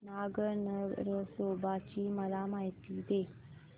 नाग नरसोबा ची मला माहिती दे